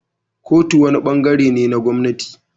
Kotu wani ɓangaren ne na gwamnati.